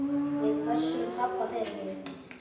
Við pössum pabba fyrir þig.